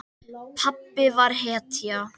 Pabbi var hetja.